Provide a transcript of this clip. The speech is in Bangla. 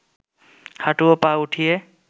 হাঁটু ও পা উঠিয়ে